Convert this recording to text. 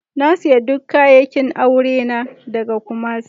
Na siya duk kayakin aure ta daga Kumasi.